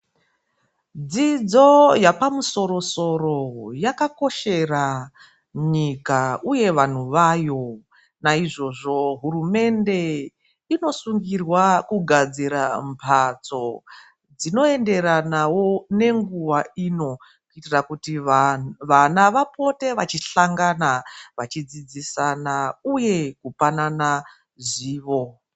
Dzidzo yepamusoro soro yakakoshera nyika uye vandu vayo. Naizvozvo hurumende inosungirwa kugadzira mbatso dzinoenderanawo nenguva ino, kuitira kuti vana vapote vachihlangana vachidzidzisana uye kupanana zivo.